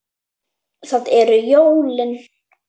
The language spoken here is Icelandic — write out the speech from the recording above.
Það eru jólin.